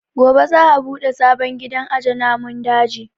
Gobe za a buɗe sabon gidan aje namun daji